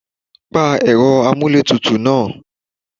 Pa ẹ̀rọ amuletutu náà!